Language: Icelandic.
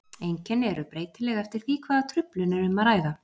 Einkenni eru breytileg eftir því hvaða truflun er um að ræða.